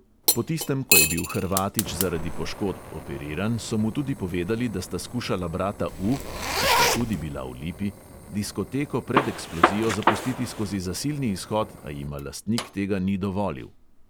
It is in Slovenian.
Po tistem, ko je bil hrvatič zaradi poškodb operiran, so mu tudi povedali, da sta skušala brata U (ki sta tudi bila v lipi), diskoteko pred eksplozijo zapustiti skozi zasilni izhod, a jima lastnik tega ni dovolil.